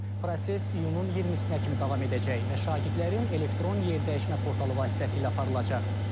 Proses iyunun 20-sinə kimi davam edəcək və şagirdlərin elektron yerdəyişmə portalı vasitəsilə aparılacaq.